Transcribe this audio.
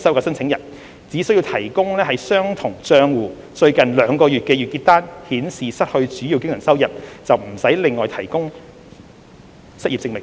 申請人只需提供相同帳戶最近兩個月的月結單，顯示失去主要經常收入，便無須另外提供失業證明。